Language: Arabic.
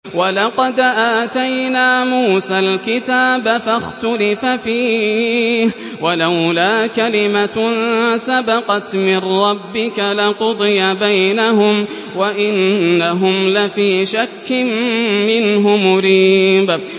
وَلَقَدْ آتَيْنَا مُوسَى الْكِتَابَ فَاخْتُلِفَ فِيهِ ۗ وَلَوْلَا كَلِمَةٌ سَبَقَتْ مِن رَّبِّكَ لَقُضِيَ بَيْنَهُمْ ۚ وَإِنَّهُمْ لَفِي شَكٍّ مِّنْهُ مُرِيبٍ